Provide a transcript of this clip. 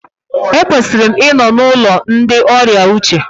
Ekwesịrị m ịnọ n'ụlọ ndị ọrịa uche